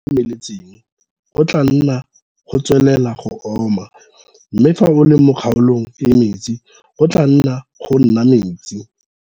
Fa o le kgaolong e e omeletseng, go tlaa nna go tswelela go oma, mme fa o le mo kgaolong e e metsi, go tlaa nna go nna metsi.